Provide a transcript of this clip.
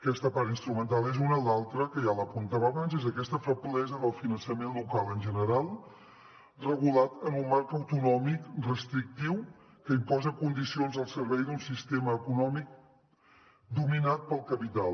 aquesta part instrumental és una l’altra que ja l’apuntava abans és aquesta feblesa del finançament local en general regulat en un marc autonòmic restrictiu que imposa condicions al servei d’un sistema econòmic dominat pel capital